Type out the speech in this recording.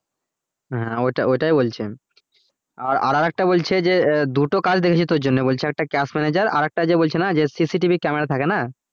হ্যাঁ ওটাই ওটাই বলছি আমি আর আর একটা বলছে যে দুটো কাজ দেখেছি তোর জন্য বলছে একটা cash manager আর একটা যে বলছে না যে CCTV camera থাকে না